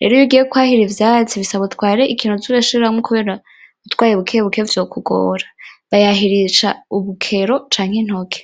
rero iyo ugiye kwahira ivyatsi bisaba utware ikintu uza urashiramwo kubera utwaye bukebuke vyokugora, bayahirisha urukero canke intoke.